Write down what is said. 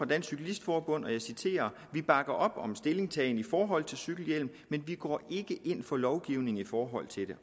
dansk cyklist forbund og jeg citerer vi bakker op om en stillingtagen i forhold til cykelhjelm men vi går ikke ind for lovgivning i forhold til det